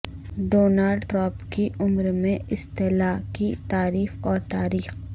Donald Trump کی عمر میں اصطلاح کی تعریف اور تاریخ